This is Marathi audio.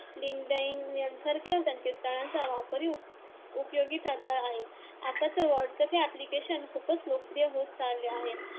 लिंकडाइन यांसारख्या संकेतस्थळांचा वापरही उपयोगी ठरला आहे. आता तर व्हॉट्स्‌अऑप हे अप्लीकेशन खूपच लोकप्रिय होत चालले आहे.